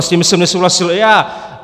A s nimi jsem nesouhlasil i já.